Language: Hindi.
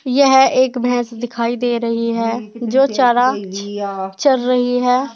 यह एक भैंस दिखाई दे रही है जो चारा चर रही है।